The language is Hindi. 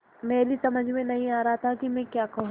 मेरी समझ में नहीं आ रहा था कि मैं क्या कहूँ